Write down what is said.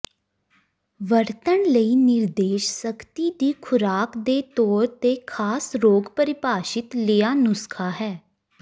ਵਰਤਣ ਲਈ ਨਿਰਦੇਸ਼ ਸਖਤੀ ਦੀ ਖੁਰਾਕ ਦੇ ਤੌਰ ਤੇ ਖਾਸ ਰੋਗ ਪਰਿਭਾਸ਼ਿਤ ਲਿਆ ਨੁਸਖ਼ਾ ਹੈ